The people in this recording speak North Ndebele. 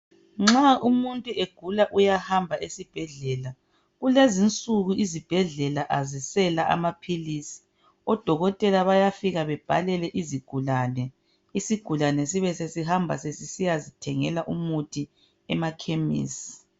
Nxa umuntu egula uyahamba esibhedlela kulezinsuku izibhedlela azisela amaphilisi udokotela bayafika babhalele izigulane, isigulane sibe sesihamba sesisiyazithengela umuthi emakhemisi